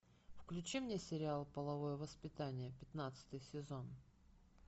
включи мне сериал половое воспитание пятнадцатый сезон